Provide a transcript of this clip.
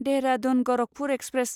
Dehradun Gorakhpur express